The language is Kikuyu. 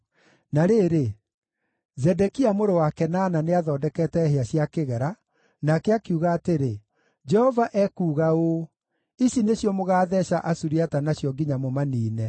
Na rĩrĩ, Zedekia mũrũ wa Kenaana nĩathondekete hĩa cia kĩgera, nake akiuga atĩrĩ, “Jehova ekuuga ũũ: ‘Ici nĩcio mũgaatheeca Asuriata nacio nginya mũmaniine.’ ”